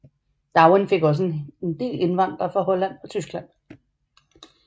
Darwin fik også en del indvandrere fra Holland og Tyskland